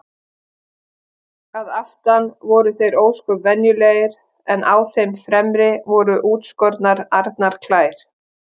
Að aftan voru þeir ósköp venjulegir en á þeim fremri voru útskornar arnarklær.